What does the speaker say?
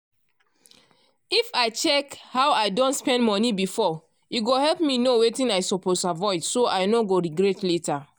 if i check how i don spend money before e go help me know wetin i suppose avoid so i no go regret later.